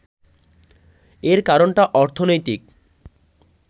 এর কারণটা অর্থনৈতিক